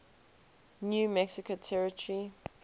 new mexico territory